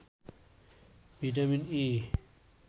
vitamin E